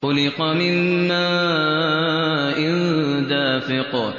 خُلِقَ مِن مَّاءٍ دَافِقٍ